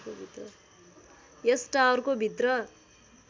यस टावरको भित्र